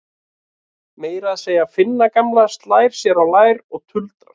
Meira að segja Finna gamla slær sér á lær og tuldrar